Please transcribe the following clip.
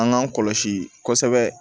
An k'an kɔlɔsi kɔsɛbɛ